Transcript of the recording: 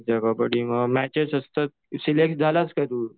ते कबड्डी मग मॅचेस असतात, सिलेक्ट झालास काय तू?